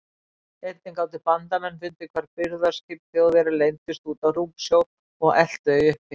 Einnig gátu bandamenn fundið hvar birgðaskip Þjóðverja leyndust úti á rúmsjó og elt þau uppi.